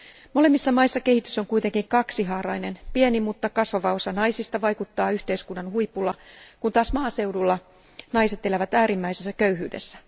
Molemmissa maissa kehitys on kuitenkin kaksihaarainen pieni, mutta kasvava osa naisista vaikuttaa yhteiskunnan huipulla, kun taas maaseudulla naiset elävät äärimmäisessä köyhyydessä.